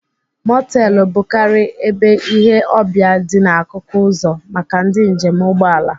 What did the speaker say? Motelu bụkarị ebe ile ọbịa dị n'akụkụ uzo maka ndị njem ụgbọala.